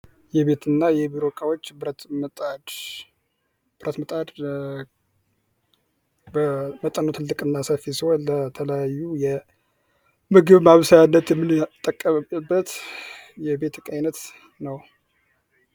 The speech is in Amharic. የቤትና የቢሮ ዕቃዎች ብረት መጣድ ብረት መጣድ በጣም ትልቅና ሰፊ ሲሆን፤ ተለያዩ ለምግብ ማብሰያነት የምንጠቀምበት የቤት እቃ አይነት ነው።